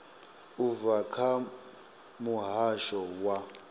u bva kha muhasho wa